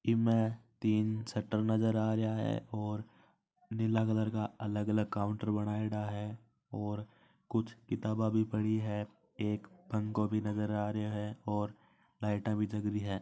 इ में तीन शटर में नज़र आ रहा है और नीला कलर का अलग अलग काउंटर बनायेडा है और कुछ किताबे भी पड़ी है एक पंखो भी नज़र आ रहा है और लाइट जला रही है।